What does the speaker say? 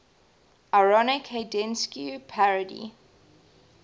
ironic haydnesque parody